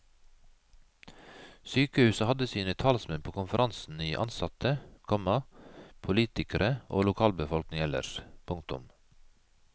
Sykehuset hadde sine talsmenn på konferansen i ansatte, komma politikere og lokalbefolkning ellers. punktum